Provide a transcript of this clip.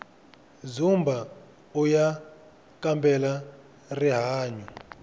dzumbauya kambela rihanyu